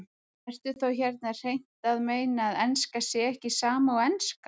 Ertu þá hérna hreint að meina að enska sé ekki sama og enska?